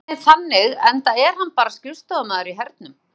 Hann er einhvern veginn þannig enda er hann bara skrifstofumaður í hernum.